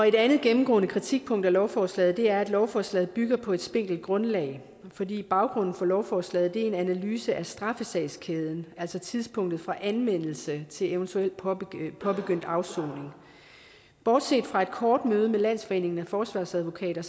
et andet gennemgående kritikpunkt af lovforslaget er at lovforslaget bygger på et spinkelt grundlag fordi baggrunden for lovforslaget er en analyse af straffesagskæden altså tidspunktet for anmeldelse til eventuel påbegyndt påbegyndt afsoning bortset fra et kort møde med landsforeningen af forsvarsadvokater